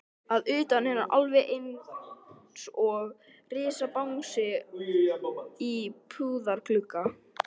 Að utan er hann alveg einsog risabangsi í búðarglugga.